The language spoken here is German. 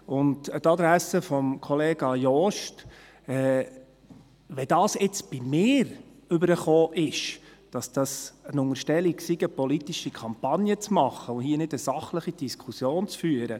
Und an die Adresse von Kollege Jost, dazu, wie das jetzt bei mir rübergekommen ist, dass dies eine Unterstellung sei, eine politische Kampagne zu machen und hier keine sachliche Diskussion zu führen: